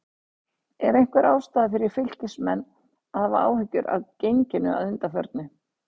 Er einhver ástæða fyrir Fylkismenn að hafa áhyggjur af genginu að undanförnu?